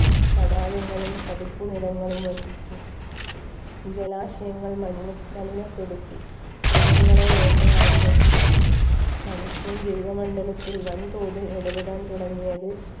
തടാകങ്ങളും ചതുപ്പ് നിലങ്ങളും വറ്റിച്ചും ജലാശയങ്ങൾ മലിന മലിനപ്പെടുത്തി മൃഗങ്ങളെ വേട്ടയാടി നശിപ്പിച്ചു മനുഷ്യൻ ജൈവമണ്ഡലത്തിൽ വൻതോതിൽ ഇടപെടാൻ തുടങ്ങിയത്